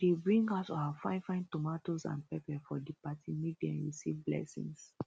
dey bring out our fine fine tomatoes and peppers for di party make dem receive blessings